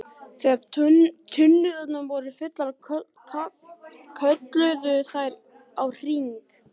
Þegar tunnurnar voru fullar kölluðu þær á HRING!